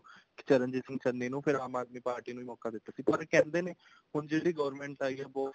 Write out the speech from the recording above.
ਚਰਨਜੀਤ ਸਿੰਘ ਚੰਨੀ ਨੂੰ ਫ਼ੇਰ ਆਮ ਆਦਮੀ ਪਾਰਟੀ ਨੂੰ ਵੀ ਮੋਕਾ ਦਿੱਤਾ ਸੀ ਪਰ ਕਹਿੰਦੇ ਨੇ ਹੁਣ ਜਿਹੜੀ government ਆਈ ਹੈ ਬਹੁਤ